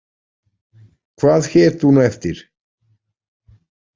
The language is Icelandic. Hvað hét hún eftir?